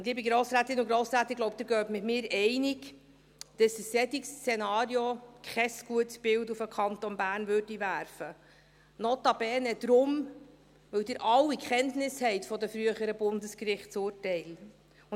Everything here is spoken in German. Liebe Grossrätinnen und Grossräte, ich glaube, Sie gehen mit mir einig, dass ein solches Szenario kein gutes Bild des Kantons Bern abgeben würde, notabene deshalb, weil Sie alle Kenntnis von den früheren Bundesgerichtsurteilen haben.